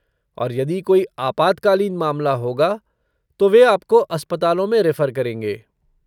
और यदि कोई आपातकालीन मामला होगा तो वे आपको अस्पतालों में रेफर करेंगे।